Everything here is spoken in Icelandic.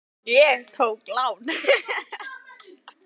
Ég tók lán.